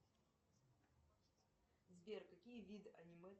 сбер какие виды аниме